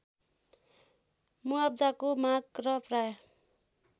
मुआब्जाको माग र प्राय